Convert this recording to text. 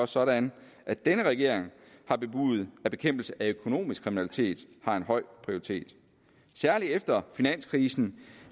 sådan at denne regering har bebudet at bekæmpelse af økonomisk kriminalitet har en høj prioritet særlig efter finanskrisen